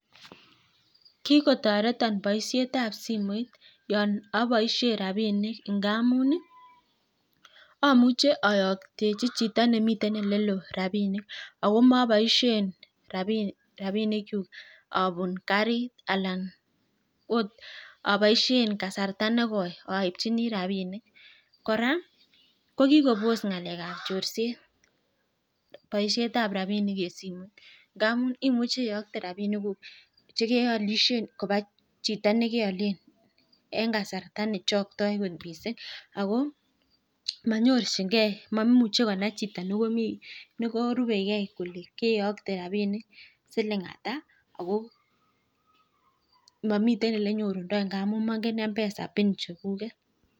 Kikotoreto boishetab simoit yon aboishe rapinik ,angamun amuche ayokchi chito nemitei oleloo rapinik ako maboishe rapinikchu apun karit. Alan akot aboishe kasarta negoi aipchini rapinik. Kora kokikopos ng'alekap chorset ,boishetab rapinik eng simot ndamun imuche iyokte rapinikuk kopa chito nekeolen eng kasarta nechoktoi kot mising ako maimuchei konai chito nekerupegei kole keyokte rapinik siling ata ako momiten ole nyorundoi ngamun moingen mpesa pin chegung'et